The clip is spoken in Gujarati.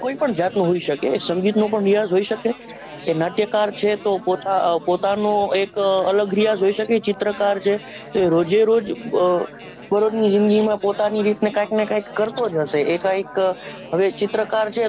કોઈ પણ જાતનો હોઈ સકે સંગીત નો પણ રીયાઝ હોઈ સકેએ નાટ્યકાર છે તો પોતા અ પોતાનો એક અલગ રીયાઝ હોઈ સકે ચિત્રકાર છે એ રોજે રોજ અ બરોજની જીંદગીમાં પોતાની રીતને કાઈક ને કઈક કરતો જ હશે એ કઈક હવે એક ચિત્રકાર છે તો